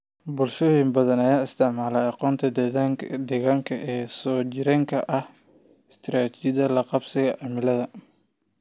Bulshooyin badan ayaa isticmaala aqoonta deegaanka ee soo jireenka ah ee istiraatijiyadaha la qabsiga cimilada.